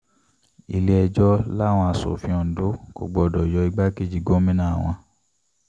ilé-ẹjọ́ làwọn asòfin ondo kò gbọdọ̀ yọ igbákejì gómìnà wọn